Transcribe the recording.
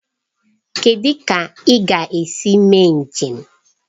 Kedụ ka ị ga-esi mee njem?